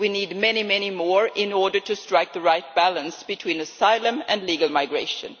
We need many more in order to strike the right balance between asylum and legal migration.